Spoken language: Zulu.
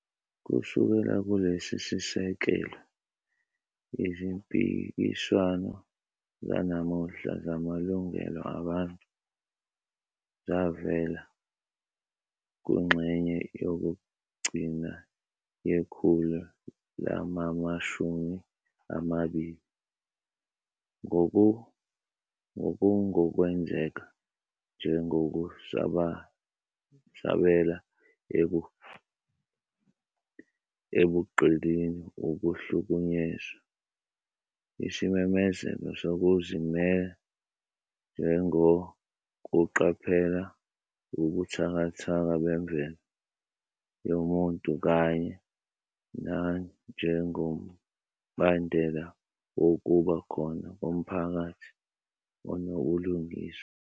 Kusukela kulesi sisekelo, izimpikiswano zanamuhla zamalungelo abantu zavela kungxenye yokugcina yekhulu lamamashumi amabili, ngokungokwenzeka njengokusabela ebugqilini, ukuhlukunyezwa, isimemezelo sokuzimela njengokuqaphela ubuthakathaka bemvelo yomuntu kanye nanjengombandela wokuba khona komphakathi onobulungiswa.